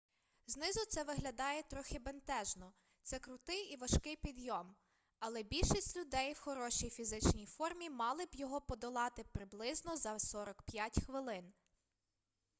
знизу це виглядає трохи бентежно це крутий і важкий підйом але більшість людей в хорошій фізичній формі мали б його подолати приблизно за 45 хвилин